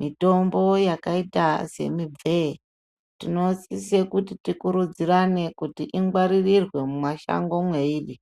.Mitombo yakaita semibvee , tinosise kuti tikurudzirane kuti ingwaririrwe mumashango mweiri .